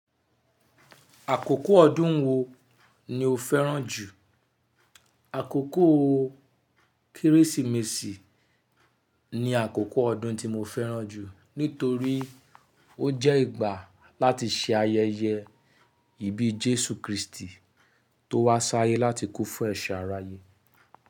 Àkókò ọdún wo ni o fẹ́ràn jù? Àkókò Kérésìmesì ni àkókò ọdún tí mo fẹ́ràn jù nítorí ó jẹ́ ìgbà láti se ayẹyẹ ìbí Jésù Kristi tó wá sáyé láti kú fún ẹ̀ṣẹ̀ aráyé.